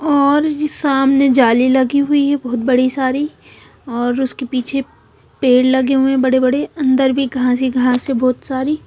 और जी सामने जाली लगी हुई है बहुत बड़ी सारी और उसके पीछे पेड़ लगे हुए हैं बड़े-बड़े। अंदर भी कहासी कहासी बहुत सारी--